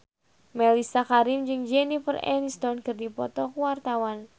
Mellisa Karim jeung Jennifer Aniston keur dipoto ku wartawan